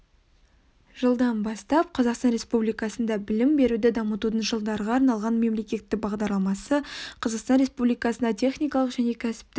жылдан бастап қазақстан республикасында білім беруді дамытудың жылдарға арналған мемлекеттік бағдарламасы қазақстан республикасында техникалық және кәсіптік